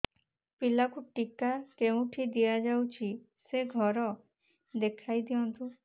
ପିଲାକୁ ଟିକା କେଉଁଠି ଦିଆଯାଉଛି ସେ ଘର ଦେଖାଇ ଦିଅନ୍ତୁ